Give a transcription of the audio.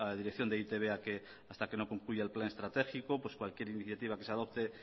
dirección de e i te be a que hasta que no concluya el plan estratégico cualquier iniciativa que se adopte